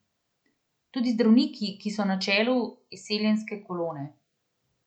Tudi zdravniki, ki so na čelu izseljenske kolone.